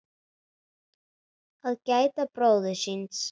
Að gæta bróður síns